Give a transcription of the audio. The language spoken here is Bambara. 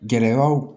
Gɛlɛyaw